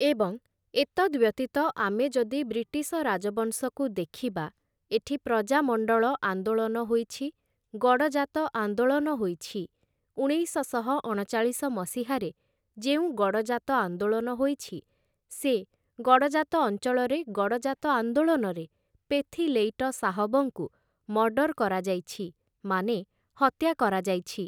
ଏବଂ ଏତଦ୍‌ବ୍ୟତୀତ ଆମେ ଯଦି ବ୍ରିଟିଶ ରାଜବଂଶକୁ ଦେଖିବା । ଏଠି ପ୍ରଜାମଣ୍ଡଳ ଆନ୍ଦୋଳନ ହୋଇଛି । ଗଡ଼ଜାତ ଆନ୍ଦୋଳନ ହୋଇଛି । ଉଣେଇଶଶହ ଅଣଚାଳିଶ ମସିହାରେ ଯେଉଁ ଗଡ଼ଜାତ ଆନ୍ଦୋଳନ ହୋଇଛି ସେ, ଗଡ଼ଜାତ ଅଞ୍ଚଳରେ ଗଡ଼ଜାତ ଆନ୍ଦୋଳନରେ ପେଥିଲେଈଟ ଶାହବଙ୍କୁ ମର୍ଡ଼ର୍ କରାଯାଇଛି, ମାନେ ହତ୍ୟା କରାଯାଇଛି ।